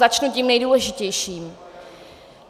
Začnu tím nejdůležitějším.